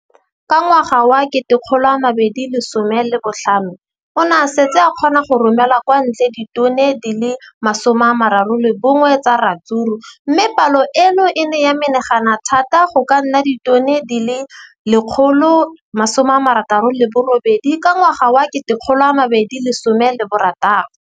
Ka ngwaga wa 2015, o ne a setse a kgona go romela kwa ntle ditone di le 31 tsa ratsuru mme palo eno e ne ya menagana thata go ka nna ditone di le 168 ka ngwaga wa 2016.